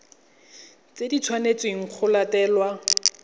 tse di tshwanetsweng go latelwa